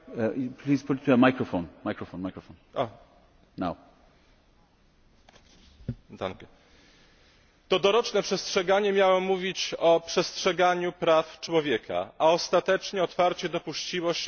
To doroczne sprawozdanie miało mówić o przestrzeganiu praw człowieka, a ostatecznie otwarcie dopuściło się naruszenia tych praw. To sprawozdanie otwarcie wzywa do wprowadzenia we wszystkich krajach Unii Europejskiej